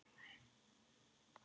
Þetta var tveggja manna tal.